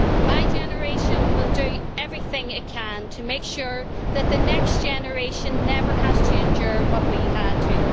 My generation will do everything it can to make sure that the next generation never has to endure what we had to.